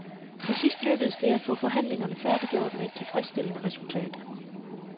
Til sidst lykkedes det at få forhandlingerne færdiggjort med et tilfredsstillende resultat.